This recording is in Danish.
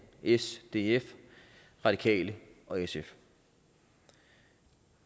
s df radikale og sf